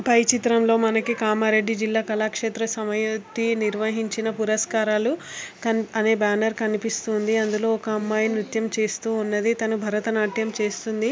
పై చిత్రంలో మనకి కామారెడ్డి జిల్లా కళాక్షేత్ర సమయతి నిర్వహించిన పురస్కారాలు అది బ్యానర్ కనిపిస్తూ ఉన్నది అందులో ఒక అమ్మాయి నృత్యం చేస్తూ ఉన్నది తను భరతనాట్యం చేస్తూ ఉన్నది.